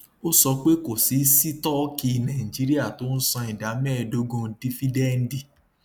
ó sọ pé kò sí sítọọkì nàìjíríà tó ń san ìdá méẹdógún dífídẹǹdì